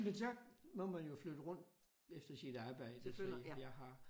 Men så må man jo flytte rundt efter sit arbejde fordi jeg har